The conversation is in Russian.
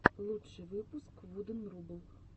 лучший выпуск вуден рубл